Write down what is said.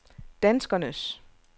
danskernes